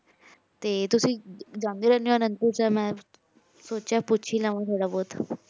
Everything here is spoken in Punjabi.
ਤੇ ਤੁਸੀਂ ਜਾਨੇ ਰੇਹੰਡੀ ਊ ਮੈਨ ਸੋਚ੍ਯਾ ਪੋਚ ਈ ਲਾਵਾ ਥੋਰਾ ਭਟ